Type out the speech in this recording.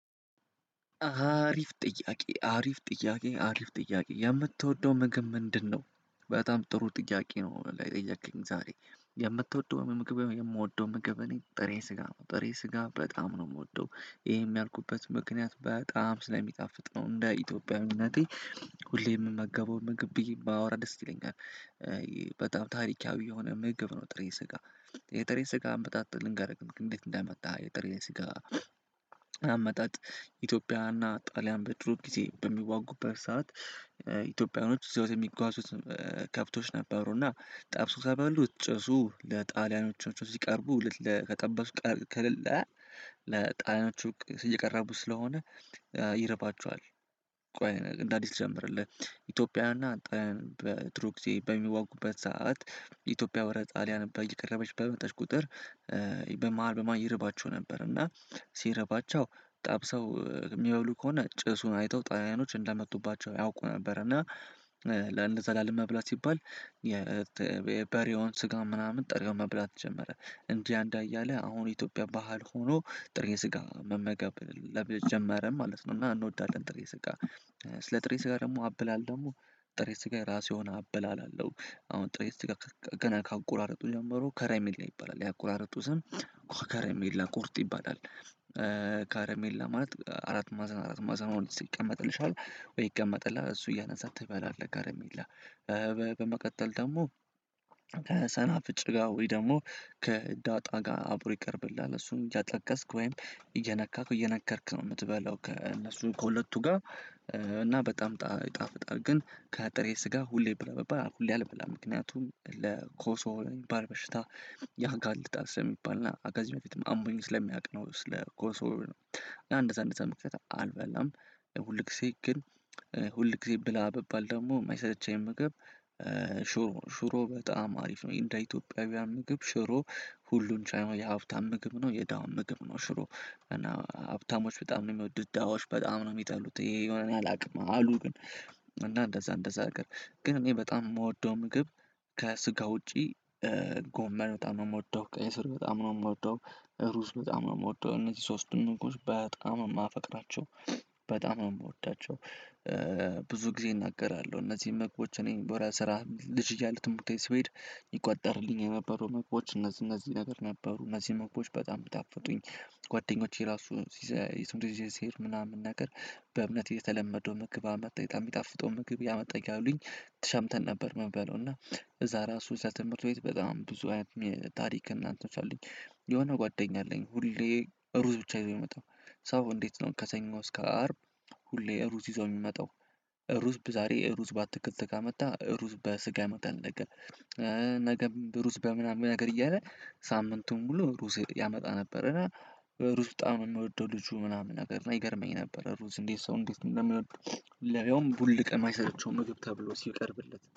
አሪፍ ጥያቄ አሪፍ ጥያቄ አሪፍ ጥያቄ የምትወደው ግግብ ምንድን ነው? በጣም ጥሩ ጥያቄ ነው የጠየከኝ ዛሬ የምትወደው ምግብ የምወደው ምግብ እኔ ጥሬ ስጋ ጥሬ ስጋ በጣም ነው የምወደው። ይሄም ያልኩበት ምክንያት በጣም ስለሚጣፍጥ ነው እንደ ኢትዮጵያዊነቴ ሁሌም የምመገበው ምግብ ብዬ ባወራ ደስ ይለኛል። በጣም ታሪካዊ የሆነ ምግብ ነው። ጥሬ ስጋ የጥሬ ስጋ አመጣጥ ልንገርህ እንዴት እንደመጣ የጥሬ ስጋ። አመጣጥ ኢትዮጵያና ጣሊያን በድሮ ጊዜ በሚዋጉበት ሰዓት። ኢትዮጵያኖች ይዘውት የሚጓዙት ከብቶች ነበሩና ጠብሰው ከበሉት ጭሱ ለጣሊያኖች ሲቀርቡ ጠብሰው ከበሉ። ለጣሊያኖቹ እየቀረቡ ስለሆነ ይረባቸዋል። ቆይ እንዳዲስ ልጀምርልህ። ኢትዮጵያና ጥሩ ጊዜ በሚዋጉበት ሰዓት ኢትዮጵያ ወራር ጣሊያን በቀረበች በመጠች ቁጥር። በማሀል በማሀል ይረባቸው ነበር። እና ሲረባቸው ጣብሰው የሚባሉ ከሆነ ጭሱን አይተው ጣሊያኖች እንደመጡባቸው ያውቁ ነበር። እና ለእንደ ዘላለም ላለመብላት ሲባል። የበሬውን ስጋ ምናምን ጥሬው መብላት ጀመረ። እንጂ አንድ አያለ አሁን ኢትዮጵያ ባህል ሆኖ ጥሬ ስጋ መመገብ ለመጀመርም ማለት ነው። እና እንወዳለን ጥሬ ስጋ። ስለ ጥሬ ስጋ ደግሞ አበላል ደግሞ ጥሬ ስጋ የራሱ የሆነ አበላል አለው። አሁን ጥሬ ስጋ ገና ካቆራረጡ ጀምሮ ከረሚላ ላይ ይባላል ያቆራረጡ ስም። ከረሜላ ቁርጥ ይባላል። ከረሜላ ማለት አራት ማዘን አራት ማዘን ሆኖ ሲቀመጥልሻል። ወይ ይቀመጥላል እሱ እያነሳ ትበላለህ ጋር ከረሜላ። በመቀጠል ደግሞ ከሰናፍጭ ጋር ወይ ደግሞ ከዳጣ ጋር አብሮ ይቀርብልሃል። እሱን እያጠቀስክ ወይም እየነካክ እየነከርክ ነው የምትበላው ከእነሱ ከሁለቱ ጋር። እና በጣም ይጣፍጣል ግን ከጥሬ ስጋ ሁሌ ብላ በባል ሁሌ አልበላም። ምክንያቱም ለኮሶ የሚባል በሽታ ጋር ያጋልጣል ስለሚባልና ከዚ በፊትም አሞኝ ስለሚያውቅ ነው። ስለ ኮንሶር ነው። እንደዛ እንደዛ ምክንያት አልበላም። ሁል ጊዜ ግን ሁል ጊዜ ብላ ብባል ደግሞ የማይሰለቼኘ ምግብ። ሹሮ ነው ሹሮ በጣም አሪፍ ነው። እንደ ኢትዮጵያውያን ምግብ ሹሮ ሁሉን ቻይናው የሀብታም ምግብ ነው። የደሀውም ምግብ ነው። ሽሮ እና ሀብታሞች በጣም ነው የሚወዱት ደሀዎች በጣም ነው የሚጠሉት። የሄ ለምን እንደሆነ እኔ አላውቅም። አሉ ግን እንደዛ እንደዛ ነገር ግን እኔ በጣም የምወደው ምግብ። ከስጋ ውጪ ጎመን በጣም ነው የምወደው። ቀይ ስር በጣም ነው የምወደው። ሩዝ በጣም ነው የምወደው እነዚህ ሶስቱም እንግዶች በጣም ነው የማፈቅራቸው። በጣም ነው የምወዳቸው። ብዙ ጊዜ እናገራለሁ እነዚህን ምግቦች እኔን ወደ ስራ ልጅ እያለሁ ትምህርት ሲሄድ ይቆጠርልኝ የነበሩ መምግቦች እነዚህ እነዚህ ነገር ነበሩ እነዚህ ምግቦች በጣም ብታፈጡኝ። ጓደኞቼ ራሱ ሲሄድ ምናምን ነገር በእምነት የተለመደው ምግብ አመጣ የሚጣፍጠው ምግብ ያመጣኝ ካሉኝ ተሻምተን ነበር። የምንበለው እና እዛ ራሱ እዛ ትምህርት ቤት በጣም ብዙ አይነት ታሪክ እናንተዎች አሉኝ የሆነ ጓደኛ አለኝ ሁሌ ሩዝ ብቻ ይዞ የሚመጣው። ሰው እንዴት ነው ከሰኞ እስከ አርብ? ሁሌ ሩዝ ይዞ የሚመጣው። ሩዝ ዛሬ ሩዝ በአትክልት ጋር ካመጣ ሩዝ በስጋ ያመጣል ነገ። ነገም ሩዝ በምናምን ነገር እያለ ሳምንቱን ሙሉ ሩዝ ያመጣ ነበረ። እና ሩዝ በጣም የሚወደው ልጁ ምናምን ነገር እና ይገርመኝ ነበር። ሩዝ እንዴት ሰው እንዴት ነው የምወደው። ለያውም ቡል ቀን የማይሰለቸው ምግብ ተብሎ ሲቀርብለት